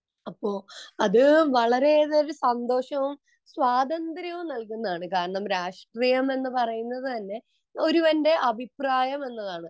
അത് വളരെയേറെ സന്തോഷവും സ്വാതന്ത്ര്യവും നൽകുന്നതാണ് കാരണം രാഷ്ട്രീയം എന്ന് പറയുന്നത് തന്നെ ഒരുവന്റെ അഭിപ്രായം എന്നതാണ്